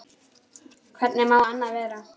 Hvernig má annað vera?